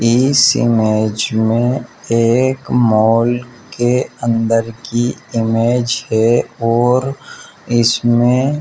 इस इमेज में एक मॉल के अंदर की इमेज है और इसमें --